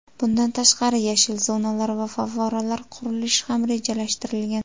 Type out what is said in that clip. Bundan tashqari, yashil zonalar va favvoralar qurilishi ham rejalashtirilgan.